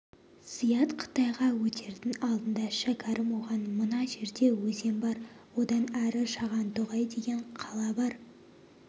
зият қытайға өтердің алдында шәкәрім оған мына жерде өзен бар одан әрі шағантоғай деген қала бар